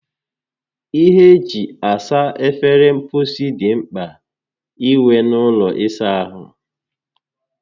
Ihe eji esa efere mposi dị mkpa inwe n'ụlọ ịsa ahụ